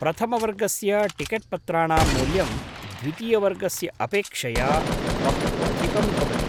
प्रथमवर्गस्य टिकेट्पत्राणां मूल्यं द्वितीयवर्गस्य अपेक्षया बह्वधिकं भवति।